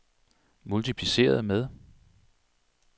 multipliceret med